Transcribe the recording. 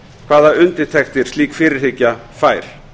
hvaða undirtektir slík fyrirhyggja fær